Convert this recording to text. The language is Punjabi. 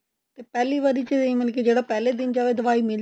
ਪਹਿਲੀ ਵਾਰੀ ਚ ਵੀ ਏਂ ਹੀ ਮਤਲਬ ਕੇ ਜਿਹੜਾ ਪਹਿਲੇ ਦਿਨ ਜਾਵੇ ਦਵਾਈ ਮਿਲ